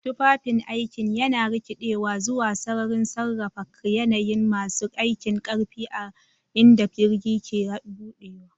Tufafin aikin yana rikidewa zuwa sararin sarrafa yanayin masu aikin ƙarfi a inda jirgi ke buɗewa.